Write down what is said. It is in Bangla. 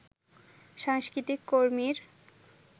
সাংস্কৃতিক কর্মীর